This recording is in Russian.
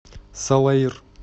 салаир